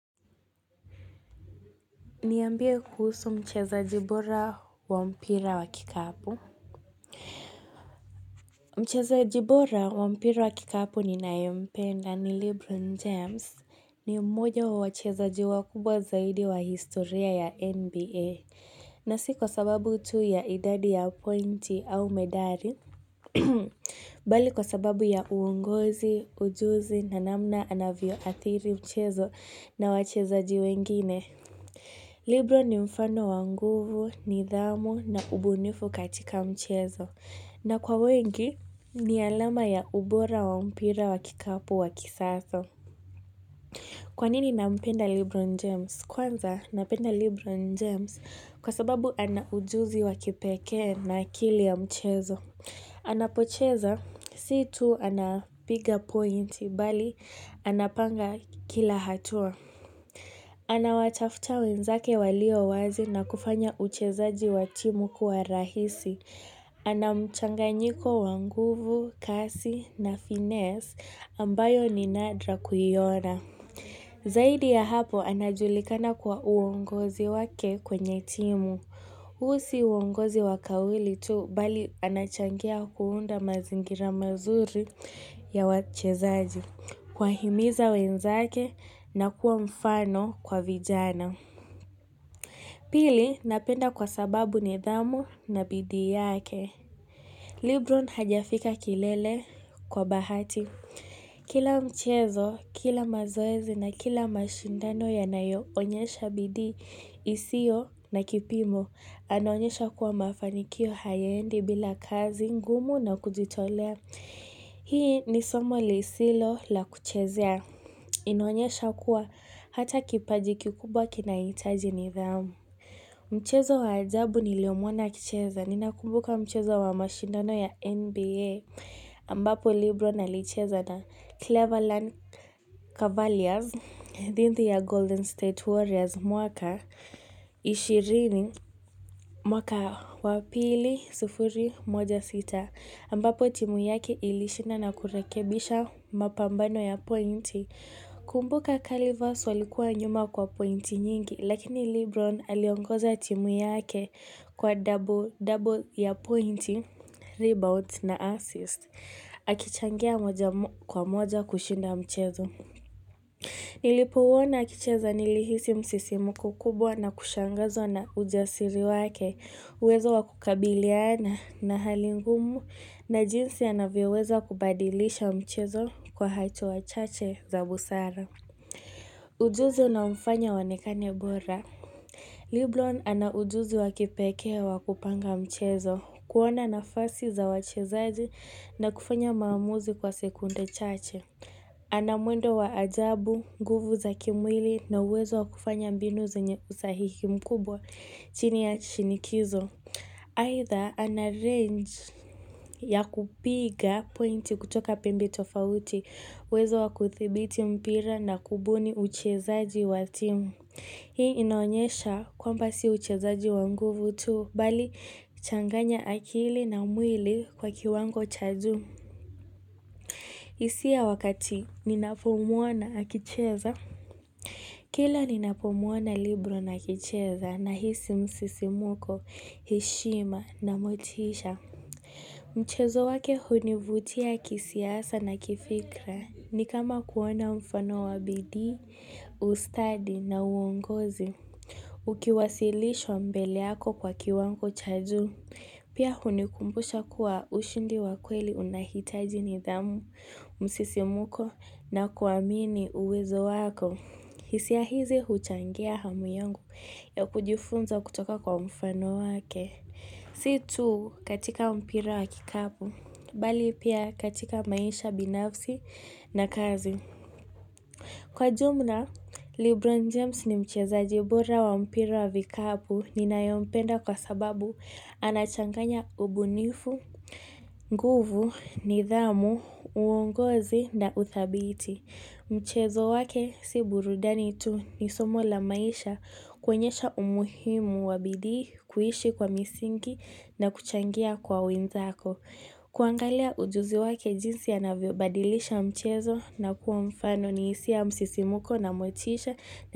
Niambie kuhusu mchezaji bora wa mpira wa kikapu. Mchezaji bora wa mpira wa kikapu ninaye mpenda ni Lebron James ni mmoja wa wachezaji wakubwa zaidi wa historia ya NBA. Na si kwa sababu tu ya idadi ya pointi au medari, mbali kwa sababu ya uongozi, ujuzi na namna anavyo athiri mchezo na wachezaji wengine. Lebron ni mfano wa nguvu, nidhamu na ubunifu katika mchezo na kwa wengi ni alama ya ubora wa mpira wa kikapu wa kisasa Kwa nini nampenda Lebron James? Kwanza napenda Lebron James kwa sababu ana ujuzi wakipekee na akili ya mchezo Anapocheza si tu anapiga points mbali anapanga kila hatua Anawatafuta wenzake walio wazi na kufanya uchezaji wa timu kuwa rahisi ana mchanganyiko wa nguvu, kasi na finess ambayo ni nadra kuiona Zaidi ya hapo anajulikana kwa uongozi wake kwenye timu huu si uongozi wa kawili tu mbali anachangia kuunda mazingira mazuri ya wachezaji kuwahimiza wenzake na kuwa mfano kwa vijana Pili napenda kwa sababu nidhamu na bidii yake Lebron hajafika kilele kwa bahati Kila mchezo, kila mazoezi na kila mashindano yanayo onyesha bidii isiyo na kipimo Anaonyesha kuwa mafanikio hayaendi bila kazi ngumu na kujitolea Hii ni somo lisilo la kuchezea inaonyesha kuwa hata kipaji kikubwa kinahitaji nidhamu. Mchezo wa ajabu niliomuona akicheza. Ninakumbuka mchezo wa mashindano ya NBA ambapo Lebron alicheza na Cleverland Cavaliers thinthi ya Golden State Warriors mwaka ishirini mwaka wa pili sufuri moja sita ambapo timu yake ilishinda na kurekebisha mapambano ya pointi. Kumbuka Calivers walikuwa nyuma kwa pointi nyingi, lakini Lebron aliongoza timu yake kwa double ya pointi, rebounds na assist. Akichangia moja kwa moja kushinda mchezo. Nilipouwona akicheza nilihisi msisimko kubwa na kushangazwa na ujasiri wake, uwezo wa kukabiliana na hali ngumu na jinsi anavyoweza kubadilisha mchezo kwa hacho wachache za busara. Ujuzi unaomfanya aonekane bora Lebron ana ujuzi wakipekee wa kupanga mchezo kuona nafasi za wachezaji na kufanya maamuzi kwa sekunde chache ana mwendo wa ajabu, nguvu za kimwili na uwezo wakufanya mbinu zenye usahihi mkubwa chini ya shinikizo Either ana-range ya kupiga pointi kutoka pembe tofauti, uwezo wakuthibiti mpira na kubuni uchezaji wa timu. Hii inaonyesha kwamba si uchezaji wa nguvu tu, mbali changanya akili na mwili kwa kiwango cha juu. Hisia wakati ninapomuona akicheza. Kila ninapomuona Lebron akicheza nahisi msisimuko, heshima na motisha. Mchezo wake hunivutia kisiasa na kifikra ni kama kuona mfano wa bidii, ustadi na uongozi. Ukiwasilishwa mbele yako kwa kiwango cha juu. Pia hunikumbusha kuwa ushindi wa kweli unahitaji nidhamu, msisimuko na kuamini uwezo wako. Hisia hizi huchangia hamu yangu ya kujifunza kutoka kwa mfano wake. Si tu katika mpira wa kikapu, mbali pia katika maisha binafsi na kazi. Kwa jumla, Lebron James ni mchezaji bora wa mpira wa vikapu ninayempenda kwa sababu anachanganya ubunifu, nguvu, nidhamu, uongozi na uthabiti. Mchezo wake si burudani tu ni somo la maisha kuonyesha umuhimu wa bidii, kuishi kwa misingi na kuchangia kwa wenzako. Kuangalia ujuzi wake jinsi anavyo badilisha mchezo na kuwa mfano ni hisia ya msisimko na motisha.